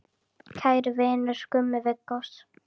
Kæri vinur, Gummi Viggós.